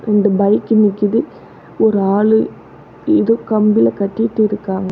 ரெண்டு பைக் நிக்கிது ஒரு ஆளு எதோ கம்பில கட்டிட்டிருக்காங்க.